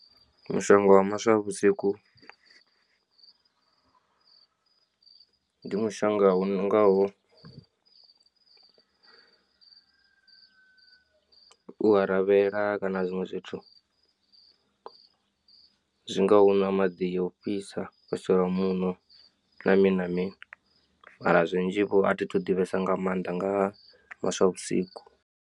Mushonga wa maswa vhusiku, ndi mushonga u ngaho, u aravhela kana zwiṅwe zwithu zwi ngaho na maḓi o fhisa wa shela muṋo na mini na mini mara zwinzhi vho athi thu ḓivhesa nga maanḓa nga maswa vhusiku.